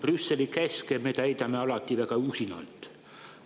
Brüsseli käske me täidame alati väga usinalt.